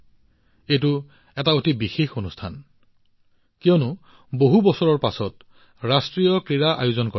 এইটো এটা অতি বিশেষ অনুষ্ঠান কিয়নো বহু বছৰৰ পিছত ৰাষ্ট্ৰীয় ক্ৰীড়াৰ আয়োজন কৰা হৈছে